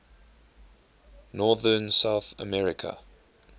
northern south america